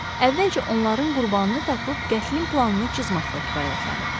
Əvvəlcə onların qurbanını tapıb qətlin planını cızmaqla kifayətlənib.